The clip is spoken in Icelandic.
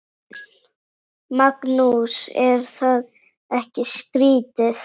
Magnús: Er það ekki skrítið?